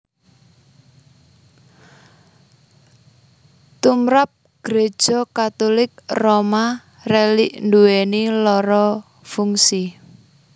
Tumrap Gréja Katulik Roma rélik nduwèni loro fungsi